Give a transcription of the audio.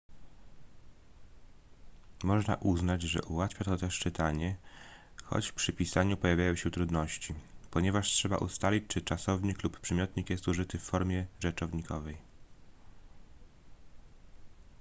można uznać że ułatwia to też czytanie choć przy pisaniu pojawiają się trudności ponieważ trzeba ustalić czy czasownik lub przymiotnik jest użyty w formie rzeczownikowej